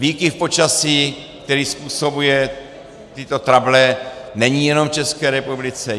Výkyv počasí, který způsobuje tyto trable, není jenom v České republice.